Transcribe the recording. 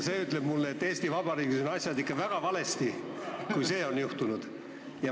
See ütleb mulle, et Eesti Vabariigis on asjad ikka väga valesti, kui see on juhtunud.